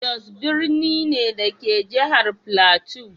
Jos birni ne, da ke a jihar Filato.